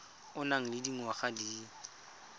o nang le dingwaga di